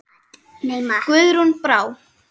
Guðrún Brá.